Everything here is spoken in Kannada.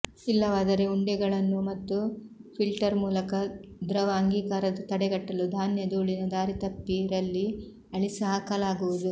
ಇಲ್ಲವಾದರೆ ಉಂಡೆಗಳನ್ನೂ ಒಳಗೆ ಮತ್ತು ಫಿಲ್ಟರ್ ಮೂಲಕ ದ್ರವ ಅಂಗೀಕಾರದ ತಡೆಗಟ್ಟಲು ಧಾನ್ಯ ಧೂಳಿನ ದಾರಿತಪ್ಪಿ ರಲ್ಲಿ ಅಳಿಸಿಹಾಕಲಾಗುವುದು